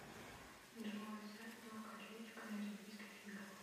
джой сайт легкая атлетика на олимпийских играх